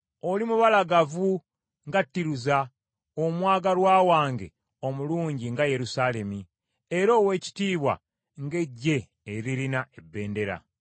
Oli mubalagavu nga Tiruza, omwagalwa wange, omulungi nga Yerusaalemi, era ow’ekitiibwa ng’eggye eririna ebendera.